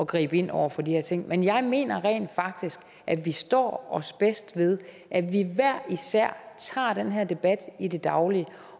gribe ind over for de her ting men jeg mener rent faktisk at vi står os bedst ved at vi hver især tager den her debat i det daglige